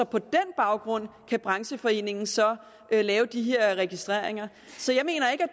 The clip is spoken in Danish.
på den baggrund kan brancheforeningen så lave de her registreringer så jeg mener ikke